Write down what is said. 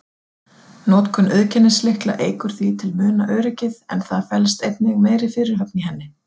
Notkun auðkennislykla eykur því til muna öryggið, en það felst einnig meiri fyrirhöfn í henni.